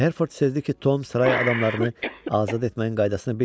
Hertford sezdi ki, Tom saray adamlarını azad etməyin qaydasını bilmir.